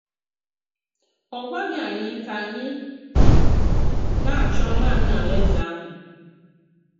Ọ gwàghị anyị ka anyị ‘nā-achọ nanị alaeze ahụ.’